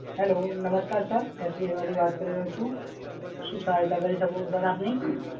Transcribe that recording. Hello, નમસ્કાર sir, SBI માંથી વાત કરી રહ્યો છું. શું સહાયતા કરી શકું સર આપની?